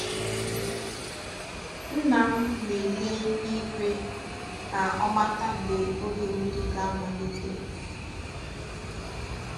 Nna m na-ele igwe ka o mata mgbe oge mmiri ga-amalite.